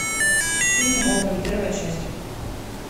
фильм гоголь первая часть